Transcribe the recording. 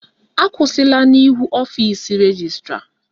Akwụsịla n'ihu ọfisi rejistra!